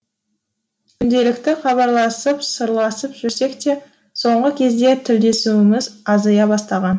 күнделікті хабарласып сырласып жүрсек те соңғы кезде тілдесуіміз азая бастаған